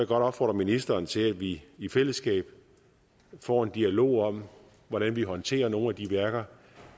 godt opfordre ministeren til at vi i fællesskab får en dialog om hvordan vi håndterer nogle af de værker